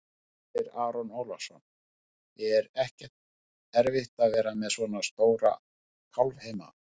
Hersir Aron Ólafsson: Er ekkert erfitt að vera með svona stóran kálf heima?